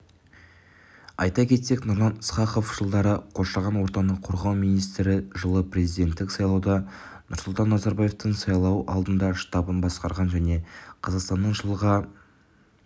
айта кетсек нұрлан ысқақов жылдары қоршаған ортаны қорғау министрі жылы президенттік сайлауда нұрсұлтан назарбаевтың сайлау алды штабын басқарған және қазақстанның жылға